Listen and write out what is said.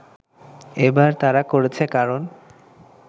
এবার তারা করেছে কারণ